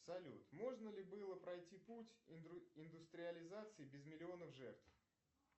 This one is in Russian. салют можно ли было пройти путь индустриализации без миллиона жертв